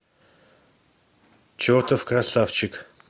чертов красавчик